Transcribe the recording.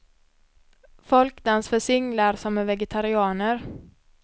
Folkdans för singlar som är vegetarianer.